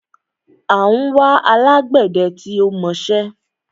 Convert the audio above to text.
À ń wá alágbẹdẹ tí ó mọṣẹ́